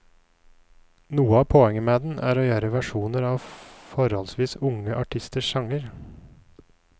Noe av poenget med den er å gjøre versjoner av forholdsvis unge artisters sanger.